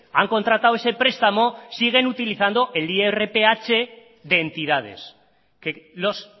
han contratado ese prestamo siguen utilizando el irph de entidades que los